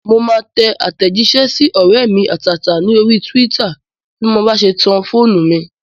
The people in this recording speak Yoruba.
Mo máa tẹ àtẹ̀jísẹ́ sí ọ̀rẹ́ mi àtàtà ní orí túwítà bí mo bá ṣe tan fóònù mi